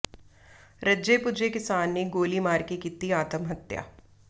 ਰੱਜੇ ਪੁੱਜੇ ਕਿਸਾਨ ਨੇ ਗੋਲੀ ਮਾਰ ਕੇ ਕੀਤੀ ਆਤਮਹੱਤਿਆ